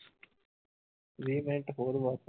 ਵੀਹ ਮਿੰਟ ਹੋਰ ਬਸ